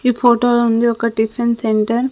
ఈ ఫోటో లో ఉంది ఒక టిఫెన్ సెంటర్ .